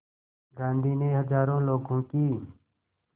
गांधी ने हज़ारों लोगों की